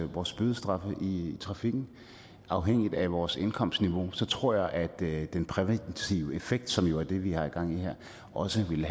vores bødestraf i trafikken afhængigt af vores indkomstniveau tror jeg at den præventive effekt som jo er det vi har gang i her også vil